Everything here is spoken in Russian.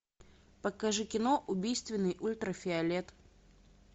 покажи кино убийственный ультрафиолет